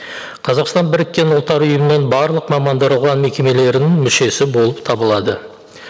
қазақстан біріккен ұлттар ұйымының барлық мекемелерінің мүшесі болып табылады